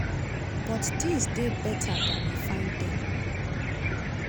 but tins dey beta dan we find dem."